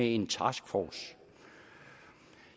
en taskforce